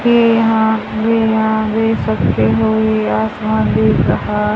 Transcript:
ये यहां ये यहां देख सकते हो ये आसमान दिख रहा --